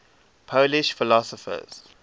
polish philosophers